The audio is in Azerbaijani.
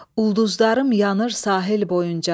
Ulduzlarım yanır sahil boyunca.